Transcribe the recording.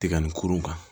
Tɛgɛ nin kurun kan